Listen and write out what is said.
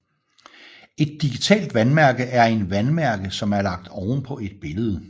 Et digitalt vandmærke er en vandmærke som er lagt oven på et billede